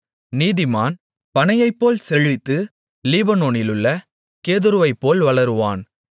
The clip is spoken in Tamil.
நீதிமான் பனையைப்போல் செழித்து லீபனோனிலுள்ள கேதுருவைப்போல் வளருவான்